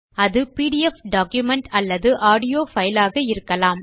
அது PDF document அலல்து audio file ஆக இருக்கலாம்